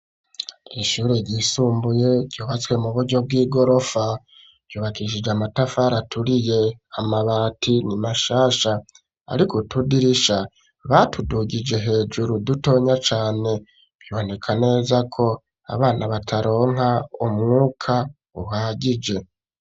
Ishure ryisumbuye ryuhatswe mu buryo bw'i gorofa yubakishije amatafara aturiye amabati ni mashasha, ariko utudirisha batudugije hejuru dutonya cane biboneka neza ko abana bataronka umwuka uhagije.